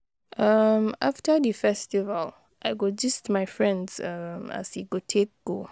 um After di festival, I go gist my friends um as e take go.